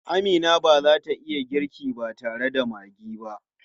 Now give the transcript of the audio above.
Amina ba za ta iya girki ba tare da maggi ba.